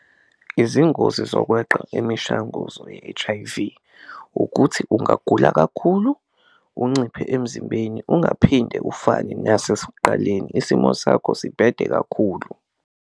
Izingozi zokweqa imishanguzo ye-H_I_V ukuthi ungagula kakhulu, unciphe emzimbeni, ungaphinde ufane nasesuqaleni, isimo sakho sibhede kakhulu.